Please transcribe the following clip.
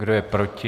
Kdo je proti?